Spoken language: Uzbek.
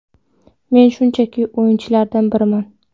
Men shunchaki o‘yinchilardan biriman.